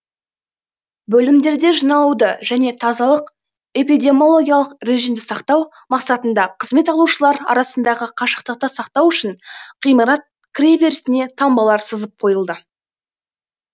бөлімдерде жиналуды және тазалық эпидемиологиялық режимді сақтау мақсатында қызмет алушылар арасындағы қашықтықты сақтау үшін ғимарат кіреберісіне таңбалар сызып қойылды